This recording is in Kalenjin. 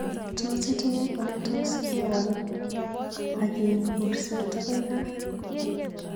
Tos itinye oletos kewol ageip kurset agoi gaa